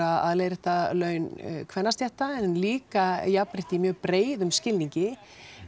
að leiðrétta laun kvennastétta en líka jafnrétti í mjög breiðum skilningi